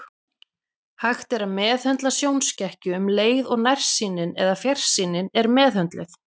Hægt er að meðhöndla sjónskekkju um leið og nærsýnin eða fjarsýnin er meðhöndluð.